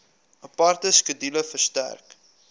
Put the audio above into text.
aparte skedule verstrek